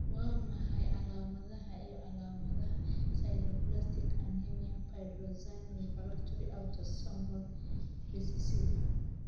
Waa maxay calaamadaha iyo calaamadaha Sideroblastic anemia pyridoxine refractory autosomal recessive?